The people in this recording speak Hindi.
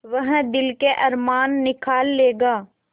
वह दिल के अरमान निकाल लेगा